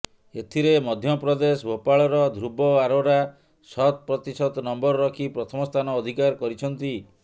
ଏଥିରେ ମଧ୍ୟପ୍ରଦେଶ ଭୋପାଳର ଧ୍ରୁବ ଆରୋରା ଶତ ପ୍ରତିଶତ ନମ୍ବର ରଖି ପ୍ରଥମ ସ୍ଥାନ ଅଧିକାର କରିଛନ୍ତି